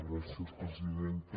gràcies presidenta